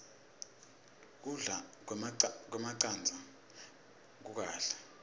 kudla kwemacandza kukahle